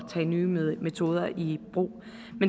tage nye metoder i brug